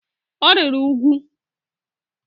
Ọ rịrị úgwù.